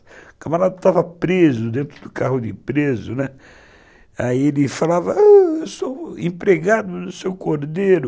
O camarada estava preso, dentro do carro de preso, aí ele falava, eu sou empregado do seu Cordeiro.